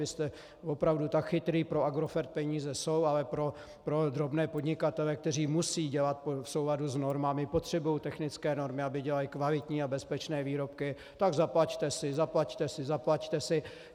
Vy jste opravdu tak chytrý, pro Agrofert peníze jsou, ale pro drobné podnikatele, kteří musí dělat v souladu s normami, potřebují technické normy, aby dělali kvalitní a bezpečné výrobky, tak zaplaťte si, zaplaťte si, zaplaťte si.